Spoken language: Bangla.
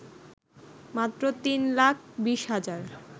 মাত্র ৩ লাখ ২০ হাজার